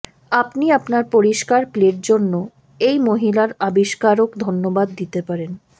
আপনি আপনার পরিষ্কার প্লেট জন্য এই মহিলার আবিষ্কারক ধন্যবাদ দিতে পারেন